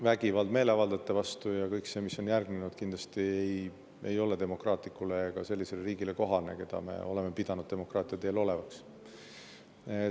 Vägivald meeleavaldajate vastu ja kõik see, mis on järgnenud, kindlasti ei ole kohane demokraatlikule riigile ega riigile, keda me oleme pidanud demokraatia teel.